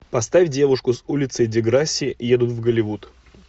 поставь девушки с улицы деграсси едут в голливуд